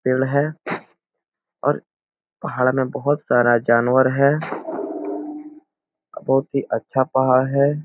पेड़ है और पहाड़ में बहुत सारा जानवर है बहुत ही अच्छा पहाड़ है।